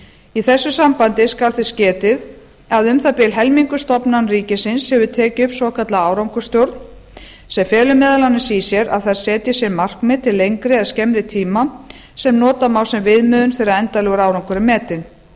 í þessu sambandi skal þess getið að um það bil helmingur stofnana ríkisins hefur tekið upp svokallaða árangursstjórn sem felur meðal annars í sér að þær setji sér markmið til lengri eða skemmri tíma sem nota má sem viðmiðun þegar endanlegur árangur er metinn